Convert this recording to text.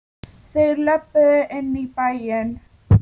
Þeir löbbuðu inn í bæinn.